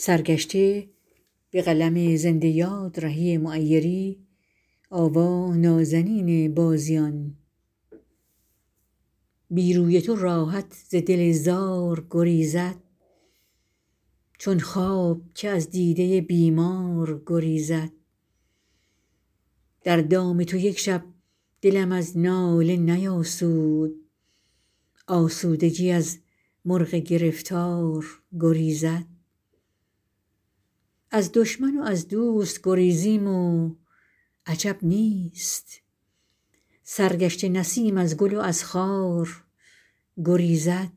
بی روی تو راحت ز دل زار گریزد چون خواب که از دیده بیمار گریزد در دام تو یک شب دلم از ناله نیاسود آسودگی از مرغ گرفتار گریزد از دشمن و از دوست گریزیم و عجب نیست سرگشته نسیم از گل و از خار گریزد